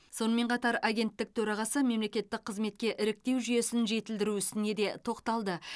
сонымен қатар агенттік төрағасы мемлекеттік қызметке іріктеу жүйесін жетілдіру ісіне де тоқталды